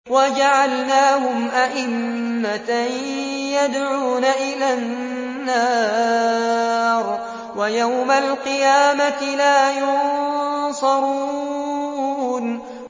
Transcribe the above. وَجَعَلْنَاهُمْ أَئِمَّةً يَدْعُونَ إِلَى النَّارِ ۖ وَيَوْمَ الْقِيَامَةِ لَا يُنصَرُونَ